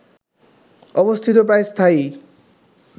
অবস্থিত প্রায় স্থায়ী